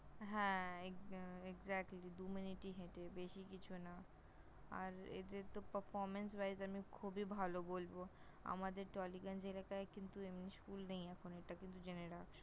হ্যাঁ! Exactly দু-মিনিটই হেঁটে বেশি কিছু না । আর এদের তো Performance wise আমি খুবই ভালো বলব । আমাদের টলিগঞ্জ এলাকায় কিন্তু এমনি School নেই এখন এটা কিন্তু জেনে রাখ ।